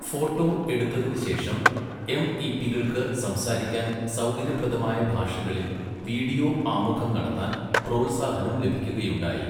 Photo എടുത്തതിനുശേഷം, എംഇപികൾക്ക് സംസാരിക്കാൻ സൗകര്യപ്രദമായ ഭാഷകളിൽ വീഡിയോ ആമുഖം നടത്താൻ പ്രോത്സാഹനം ലഭിക്കുകയുണ്ടായി.